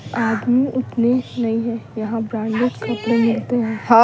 आदमी उतने नहीं है यहां ब्रांडेड कपड़े मिलते हैं--